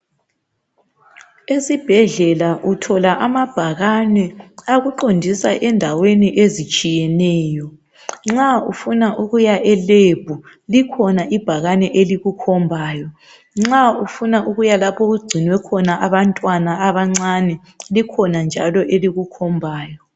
Esibhedlela uthola amabhakani akuqondisa endaweni ezitshiyeneyo. Nxa ufuna ukuya e"lab" likhona ibhakani elikukhombayo. Nxa ufuna ukuyalapho okugcinwe khona abantwana abancane likhona njalo elikukhombayo.